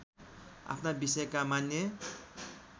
आफ्ना विषयका मान्य